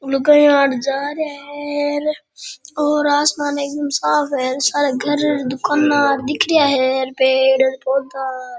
लुगाया हार जा रेया है और आसमान एकदम साफ है सारा घर दुकांन दिख रेया है पेड़ पौधा --